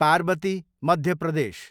Parvati, Madhya Pradesh